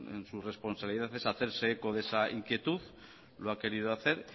es en su responsabilidad es hacerse eco de esa inquietud lo ha querido hacer